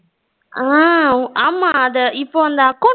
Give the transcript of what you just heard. ஆமா அத இப்போ அந்த account